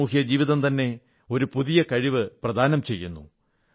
സാമൂഹ്യജീവിതം തന്നെ ഒരു പുതിയ കഴിവ് പ്രദാനം ചെയ്യുന്നു